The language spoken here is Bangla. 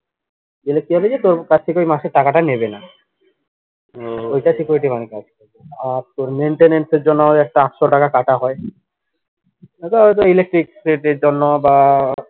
তোর থেকে ওই মাসের টাকাটা নেবে না ঐটা আর তোর maintenance এর জন্য একটা চারশো টাকা কাটা হয় ওইটা ঐটা electric এর জন্য বা